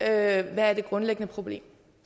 er det grundlæggende problem